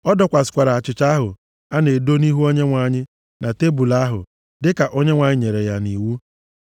Ọ dọkwasịrị achịcha ahụ a na-edo nʼihu Onyenwe anyị nʼelu tebul ahụ, dịka Onyenwe anyị nyere ya nʼiwu.